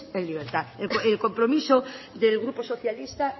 en libertad el compromiso del grupo socialista